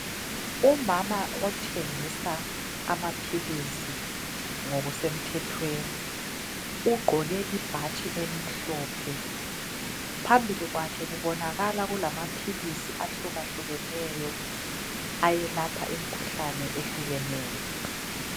Umama othengisa amaphilizi ngokusemthethweni, ugqoke ibhatshi elimhlophe, phambili kwakhe kubonakala kulamaphilisi ahlukahlukeneyo, ayelapha imikhuhlane ehlukeneyo.